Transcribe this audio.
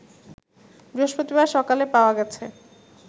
বৃহস্পতিবার সকালে পাওয়া গেছে